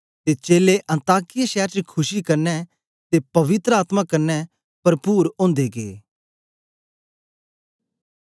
ते चेलें अन्ताकिया शैर च खुशी कन्ने ते पवित्र आत्मा कन्ने परपुर ओदे गै